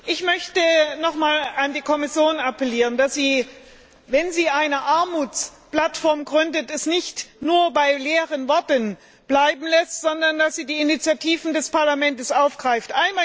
Ich möchte noch einmal an die Kommission appellieren, dass sie, wenn sie eine Armutsplattform gründet, es nicht nur bei leeren Worten belässt, sondern die Initiativen des Parlaments aufgreift.